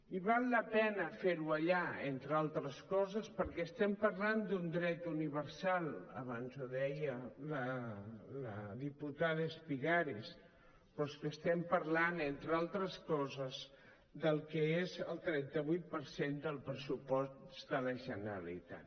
i val la pena fer ho allà entre altres coses perquè estem parlant d’un dret universal abans ho deia la diputada espigares però és que estem parlant entre altres coses del que és el trenta vuit per cent del pressupost de la generalitat